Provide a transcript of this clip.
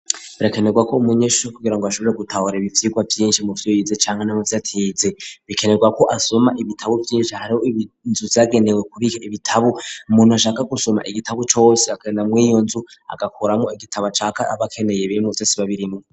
Birekenerwa ko umunyesohuri kugira ngo ashobore gutahura ibivyirwa byinshi mu vyoyize cyangwa nimu byatize bikenerwa ko asoma ibitabo byinshi hariho ibinzu yagenewe kubika ibitabo muntu ashaka gusoma igitabo cose akena mu iyonzu agakuramo igitabo acaka abakeneye bimuzesiba birimwo.